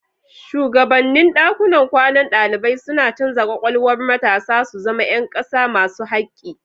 Shugabannin dakunan kwanan dalibai suna canza kwakwalwar matasa su zama ’yan kasa masu hakki.